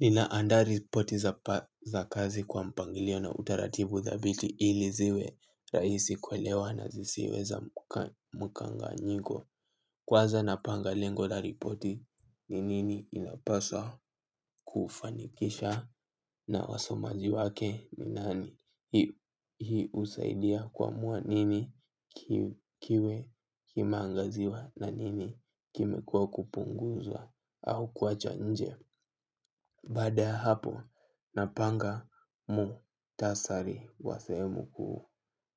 Ninaandaa ripoti za kazi kwa mpangilio na utaratibu thabiti ili ziwe rahisi kuelewa na zisiwe za mkanganyiko. Kwanza napanga lengo la ripoti, ni nini inapaswa kufanikisha na wasomaji wake ni nani. Hii husaidia kuamua nini kiwe kimeangaziwa na nini kimekua kupunguzwa au kuachwa nje. Baada ya hapo napanga muktasari wa sehemu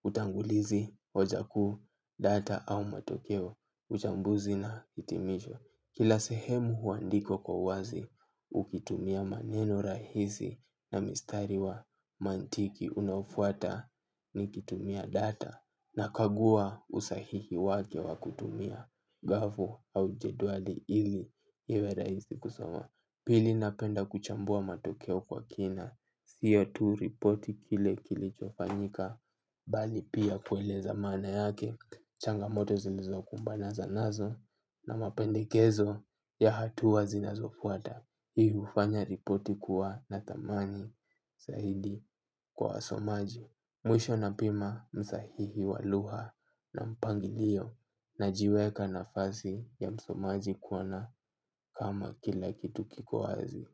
utangulizi, hoja kuu, data au matokeo, uchambuzi na hitimisho. Kila sehemu huandikwa kwa uwazi ukitumia maneno rahisi na mistari wa mantiki, unaofwata nikitumia data nakagua usahihi wake wa kutumia gafu au jedwali ili iwe rahisi kusoma. Pili napenda kuchambua matokeo kwa kina, sio tu ripoti kile kilicho fanyika, bali pia kueleza maana yake, changamoto zilizokumbana nazo na mapendekezo ya hatua zinazofwata. Hii hufanya ripoti kuwa na dhamani zaidi kwa wasomaji. Mwisho napima msahihi wa lugha na mpangilio. Najiweka nafasi ya msomaji kuona kama kila kitu kiko wazi.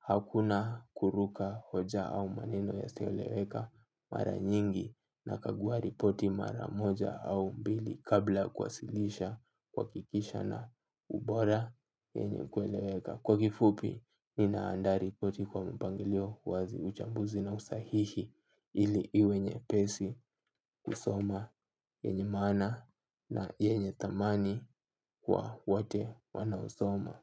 Hakuna kuruka hoja au maneno yasio eleweka. Mara nyingi nakagua ripoti mara moja au mbili kabla kuwasilisha kuhakikisha na ubora yenye kueleweka. Kwa kifupi, nina andaa ripoti kwa mpangilio, uwazi, uchambuzi na usahihi ili iwe nyepesi kusoma, yenye maana na yenye dhamani kwa wote wanaosoma.